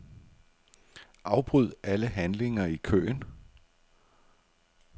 Afbryd alle handlinger i køen.